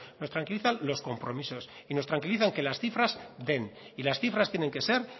nos tranquilizan los compromisos y nos tranquiliza que las cifras den y las cifras tienen que ser